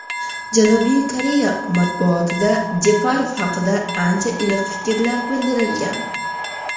Janubiy Koreya matbuotida Jeparov haqida ancha iliq fikrlar bildirilgan.